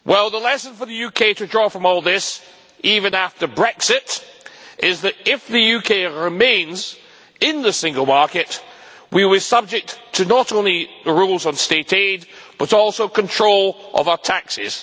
The lesson for the UK to draw from all this, even after Brexit, is that if the UK remains in the single market, we will be subject not only to the rules on State aid, but also control of our taxes.